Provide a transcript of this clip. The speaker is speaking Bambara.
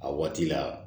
A waati la